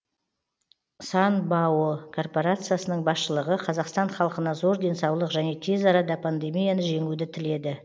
сан бао корпорациясының басшылығы қазақстан халқына зор денсаулық және тез арада пандемияны жеңуді тіледі